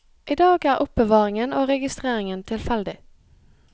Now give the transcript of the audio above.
I dag er er oppbevaringen og registreringen tilfeldig.